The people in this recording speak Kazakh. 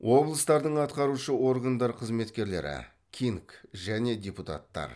облыстардың атқарушы органдар қызметкерлері кинг және депутаттар